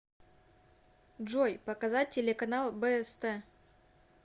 джой показать телеканал бст